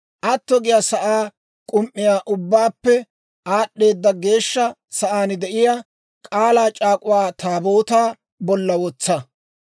Atto giyaa sa'aa k'um"iyaa Ubbaappe Aad'd'eeda Geeshsha Sa'aan de'iyaa K'aalaa C'aak'uwaa Taabootaa bolla wotsa.